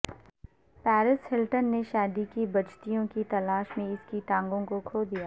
Paris Hilton نے شادی کی بجتیوں کی تلاش میں اس کی ٹانگوں کو کھو دیا